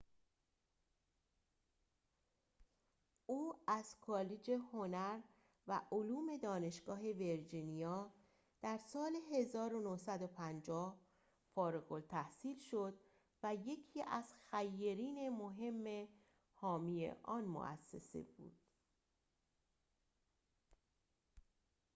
او از کالج هنر و علوم دانشگاه ویرجینیا در سال ۱۹۵۰ فارغ‌التحصیل شد و یکی از خیرین مهم حامی آن مؤسسه بود